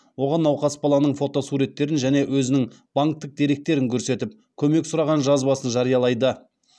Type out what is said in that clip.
оған науқас баланың фотосуретін және өзінің банктік деректерін көрсетіп көмек сұраған жазбасын жариялайды